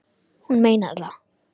Hún meinar það.